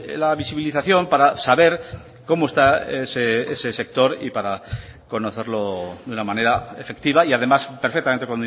la visibilización para saber cómo está ese sector y para conocerlo de una manera efectiva y además perfectamente